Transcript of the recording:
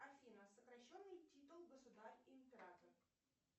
афина сокращенный титул государь император